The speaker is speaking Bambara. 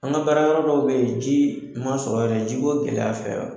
An ka baara yɔrɔ dɔw bɛ ji ma sɔrɔ yen, jiko gɛlɛya fɛ